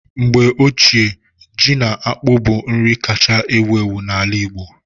Mgbe ochie ji na akpu bụ nri kacha ewu ewu n'ala Igbo